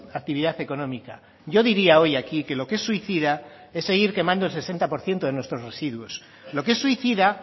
actividad económica yo diría hoy aquí que lo que es suicida es seguir quemando el sesenta por ciento de nuestros residuos lo que es suicida